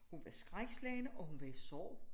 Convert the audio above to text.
Hun var skrækslagen og hun var i sorg